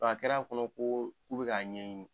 A kɛr'a kɔnɔ ko k'u bɛ k'a ɲɛɲini